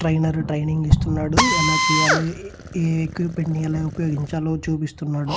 Trainer training ఇస్తున్నాడు ఎలా చెయ్యాలో ఈ ఎక్విప్మెంట్ ని ఎలా ఉపయోగించాలో చూపిస్తున్నాడు.